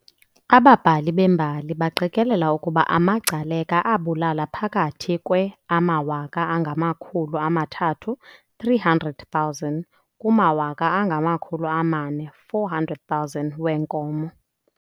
Ababhali bembali baqikelela ukuba amaGcaleka abulala phakathi kwe amawaka angamakhulu amathathu, 300,000, kumawaka angamakhulu amane, 400,000, weenkomo.